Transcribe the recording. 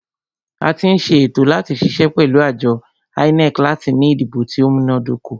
A tí ń ṣe ètò láti ṣiṣẹ́ pẹ̀lú àjọ INEC láti ní ìdìbò tí o múná dóko.